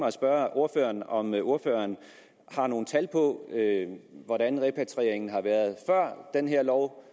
at spørge ordføreren om ordføreren har nogle tal på hvordan repatrieringen har været før den her lov